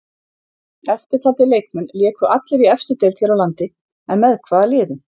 Eftirtaldir leikmenn léku allir í efstu deild hér á landi en með hvaða liðum?